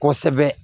Kosɛbɛ